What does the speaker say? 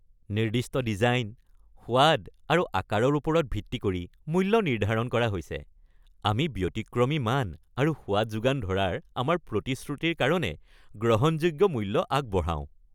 নিৰ্দিষ্ট ডিজাইন, সোৱাদ আৰু আকাৰৰ ওপৰত ভিত্তি কৰি মূল্য নিৰ্ধাৰণ কৰা হৈছে। আমি ব্যতিক্ৰমী মান আৰু সোৱাদ যোগান ধৰাৰ আমাৰ প্ৰতিশ্ৰুতিৰ কাৰণে গ্ৰহণযোগ্য মূল্য আগবঢ়াওঁ।